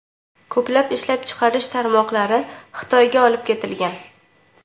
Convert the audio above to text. Ko‘plab ishlab chiqarish tarmoqlari Xitoyga olib ketilgan.